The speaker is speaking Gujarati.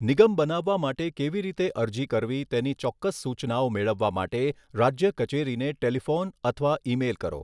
નિગમ બનાવવા માટે કેવી રીતે અરજી કરવી તેની ચોક્કસ સૂચનાઓ મેળવવા માટે રાજ્ય કચેરીને ટેલિફોન અથવા ઇમેઇલ કરો.